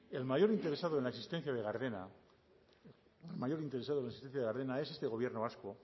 el mayor interesado en la existencia de gardena el mayor interesado en la existencia de gardena es este gobierno vasco